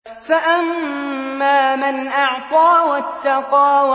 فَأَمَّا مَنْ أَعْطَىٰ وَاتَّقَىٰ